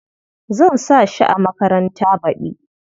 Zan sa shi a makaranta baɗi.